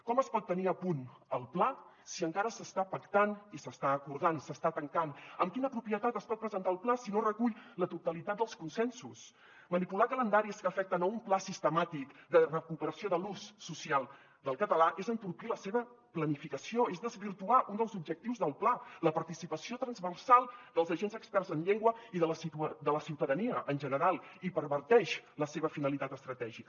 com es pot tenir a punt el pla si encara s’està pactant i s’està acordant s’està tancant amb quina propietat es pot presentar el pla si no recull la totalitat dels consensos manipular calendaris que afecten un pla sistemàtic de recuperació de l’ús social del català és entorpir la seva planificació és desvirtuar un dels objectius del pla la participació transversal dels agents experts en llengua i de la ciutadania en general i perverteix la seva finalitat estratègica